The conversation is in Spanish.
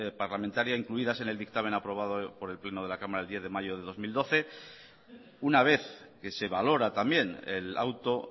parlamentaria incluidas en el dictamen aprobado por el pleno de la cámara el diez de mayo del dos mil doce una vez que se valora también el auto